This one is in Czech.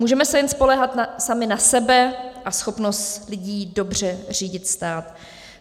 Můžeme se jen spoléhat sami na sebe a schopnost lidí dobře řídit stát.